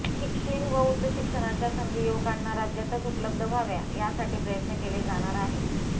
शिक्षिण व उच्च शिक्षणाच्या संधी युवकांना राज्यातच उपलब्ध व्हाव्या यासाठी प्रयत्न केले जाणार आहे